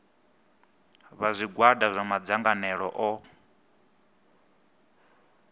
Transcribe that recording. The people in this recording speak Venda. vha zwigwada zwa madzangalelo o